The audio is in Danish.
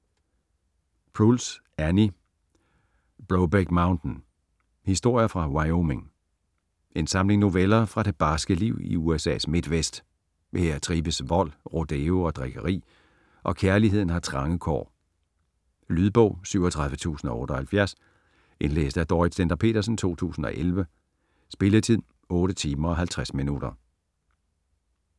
Proulx, Annie: Brokeback Mountain: historier fra Wyoming En samling noveller fra det barske liv i USA's midtvest. Her trives vold, rodeo og drikkeri, og kærligheden har trange kår. Lydbog 37078 Indlæst af Dorrit Stender-Petersen, 2011. Spilletid: 8 timer, 50 minutter.